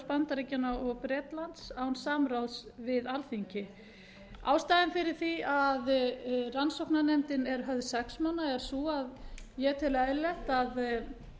bandaríkjanna og bretlands án nokkurs samráðs við alþingi ástæðan fyrir því að rannsóknarnefndin er höfð sex manna er sú að ég tel eðlilegt að